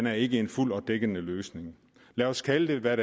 er ikke en fuldt ud dækkende løsning lad os kalde den